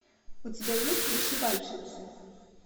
у тебя есть вышивальщицы